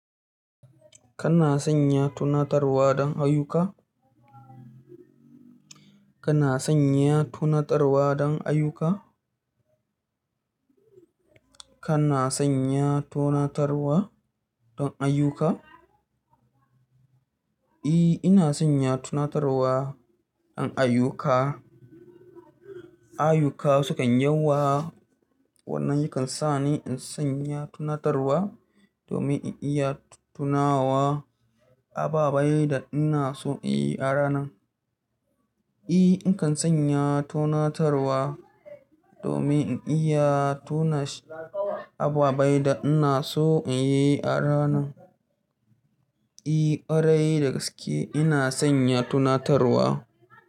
Kana sanya tunatarwa don ayuka? Kana sanya tunatarwa don ayuka? Kana sanya tunatarwa don ayuka? Eh, ina sanya tunatarwa in ayuka. Ayuka sukan yawa, wannan yakan sa ni in sanya tunatarwa domin in iya tunawa ababai da ina so in yi a ranan. Eh, in kan sanya tunatarwa domin in iya tuna ababen da ina so in yi a ranan. Eh, ƙwarai da gaske ina sanya tunatarwa.